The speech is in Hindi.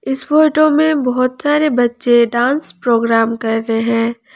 इस फोटो में बहोत सारे बच्चे डांस प्रोग्राम कर रहे हैं।